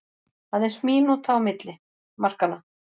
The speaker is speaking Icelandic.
Aðeins mínúta á milli markanna